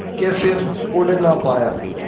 के फिर उड़ ना पाया